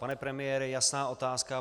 Pane premiére, jasná otázka.